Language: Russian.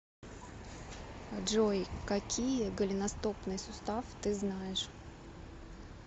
джой какие голеностопный сустав ты знаешь